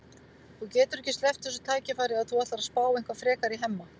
Þú getur ekki sleppt þessu tækifæri ef þú ætlar að spá eitthvað frekar í Hemma.